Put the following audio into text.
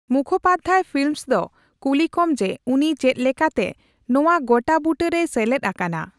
Mukhopadhyay Philips ᱫᱚ ᱠᱩᱞᱤ ᱠᱚᱢ ᱡᱮ ᱩᱱᱤ ᱪᱮᱫᱞᱮᱠᱟᱛᱮ ᱱᱚᱣᱟ ᱜᱚᱴᱟᱵᱩᱴᱟᱹ ᱨᱮᱭ ᱥᱮᱞᱮᱫ ᱟᱠᱟᱱᱟ ᱾